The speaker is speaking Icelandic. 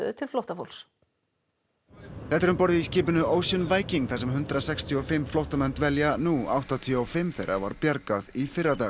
til flóttafólks þetta er um borð í skipinu Ocean Viking þar sem hundrað sextíu og fimm flóttamenn dvelja nú áttatíu og fimm þeirra var bjargað í fyrradag